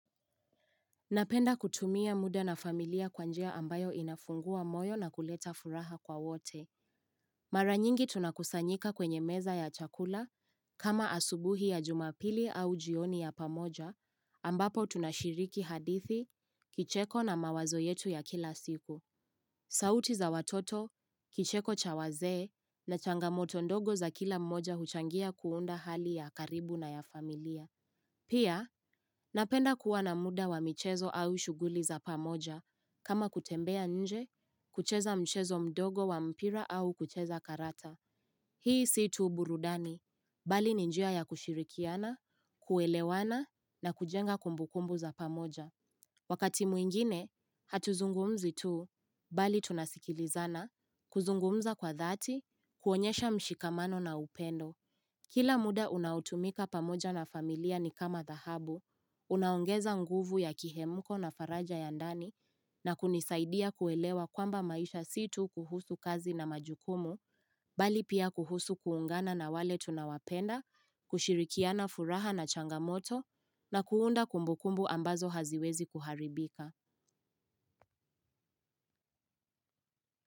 Napenda kutumia muda na familia kwa njia ambayo inafungua moyo na kuleta furaha kwa wote. Maranyingi tunakusanyika kwenye meza ya chakula, kama asubuhi ya jumapili au jioni ya pamoja, ambapo tunashiriki hadithi, kicheko na mawazo yetu ya kila siku. Sauti za watoto, kicheko cha wazee na changamoto ndogo za kila mmoja huchangia kuunda hali ya karibu na ya familia. Pia, napenda kuwa na muda wa mchezo au shuguli za pamoja, kama kutembea nje, kucheza mchezo mdogo wa mpira au kucheza karata. Hii si tu burudani, bali ni njia ya kushirikiana, kuelewana na kujenga kumbukumbu za pamoja. Wakati mwingine, hatuzungumzi tu, bali tunasikilizana, kuzungumza kwa dhati, kuonyesha mshikamano na upendo. Kila muda unaotumika pamoja na familia ni kama dhahabu, unaongeza nguvu ya kihemuko na faraja ya ndani na kunisaidia kuelewa kwamba maisha situ kuhusu kazi na majukumu, bali pia kuhusu kuungana na wale tunawapenda, kushirikiana furaha na changamoto na kuunda kumbukumbu ambazo haziwezi kuharibika.